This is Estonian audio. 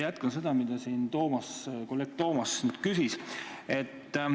Jätkan seda teemat, mille kohta kolleeg Toomas küsis.